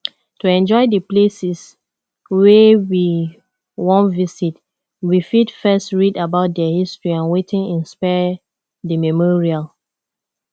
to enjoy di places wey we wan visit we fit first read about their history and wetin inspire di memorial